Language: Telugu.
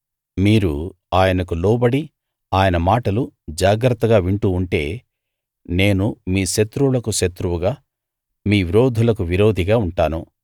మీరు ఆయనకు లోబడి ఆయన మాటలు జాగ్రత్తగా వింటూ ఉంటే నేను మీ శత్రువులకు శత్రువుగా మీ విరోధులకు విరోధిగా ఉంటాను